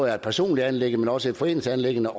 er et personligt anliggende men også et foreningsanliggende